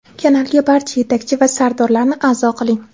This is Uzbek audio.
Kanalga barcha yetakchi va sardorlarni a’zo qiling.